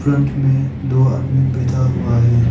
Front में दो आदमी बैठा हुआ है।